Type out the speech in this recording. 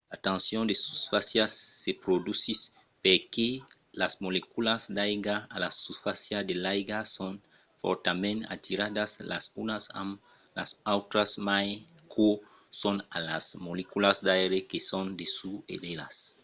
la tension de susfàcia se produsís perque las moleculas d'aiga a la susfàcia de l'aiga son fòrtament atiradas las unas amb las autras mai qu'o son a las moleculas d'aire que son dessús d'elas